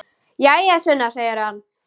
Jæja, Sunna, segir hann.